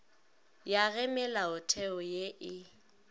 ya ge melaotheo ye e